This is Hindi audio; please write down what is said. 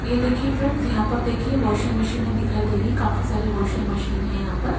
ये देखिए फ्रेंड्स यहां पर देखिए वाशिंग मशीनें दिखाई दे रही है काफी सारी वाशिंग मशीन है यहां पर--